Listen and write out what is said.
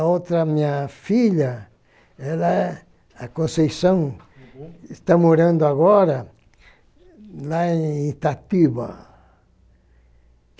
A outra, minha filha, ela... A Conceição está morando agora lá em Itatiba.